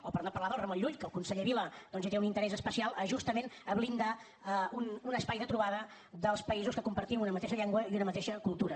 o per no parlar del ramon llull que el conseller vila doncs hi té un interès especial justament a blindar un espai de trobada dels països que compartim una mateixa llengua i una mateixa cultura